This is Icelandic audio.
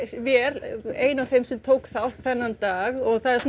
vél er ein af þeim sem tók þátt þennan dag og